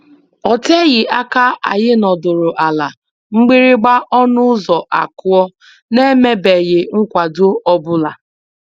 O teghị aka anyị nọdụrụ ala mgbịrị mgba ọnụ ụzọ akụọ, n'emebeghị nkwado ọ bụla.